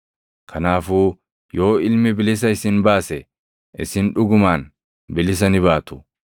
Kanaafuu yoo Ilmi bilisa isin baase, isin dhugumaan bilisa ni baatu.